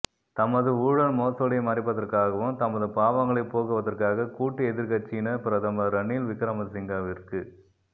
தமது ஊழல்மோசடி மறைப்பதற்காகவும் தமது பாவங்களை போக்குவதற்காக கூட்டு எதிர்க்கட்சியினர் பிரதமர் ரணில் விக்கிரமசிங்கவிற்கு